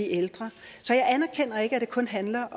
ældre så jeg anerkender ikke at det kun handler